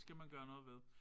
Det skal man gøre noget ved